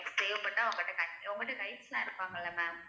தேவைப்பட்டா உங்கள்ட்ட உங்கள்ட்ட guides லாம் இருப்பாங்கல்ல ma'am